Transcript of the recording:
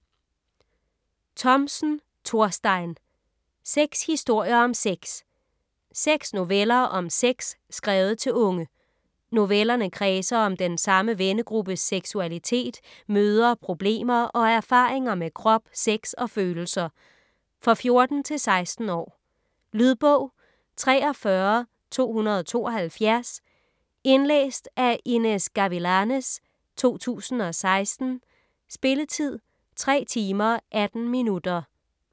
Thomsen, Thorstein: Seks historier om sex Seks noveller om sex skrevet til unge. Novellerne kredser om den samme vennegruppes seksualitet, møder, problemer og erfaringer med krop, sex og følelser. For 14-16 år. Lydbog 43272 Indlæst af Inez Gavilanes, 2016. Spilletid: 3 timer, 18 minutter.